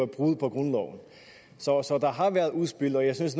brud på grundloven så der har været udspil og jeg synes